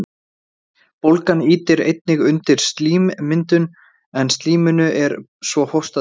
Bólgan ýtir einnig undir slímmyndun, en slíminu er svo hóstað upp.